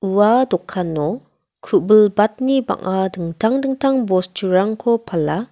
ua dokano ku·bilbatni bang·a dingtang dingtang bosturangko pala.